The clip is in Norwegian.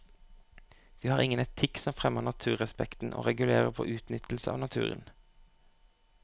Vi har ingen etikk som fremmer naturrespekten og regulerer vår utnyttelse av naturen.